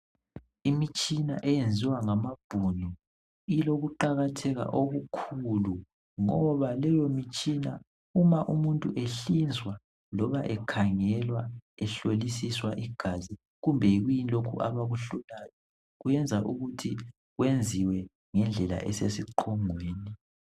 Imitshina eyenziwa ngamabhunu ilokuqakatheka okukhulu ngiba leyomitshina uma umuntu ehlinzwa loba ekhangelwa ehlolisiswa igazi kumbe yikuyini lokhu abakuhlolayo yenza ukuthi kwenziwe ngendlela esesiqongweni.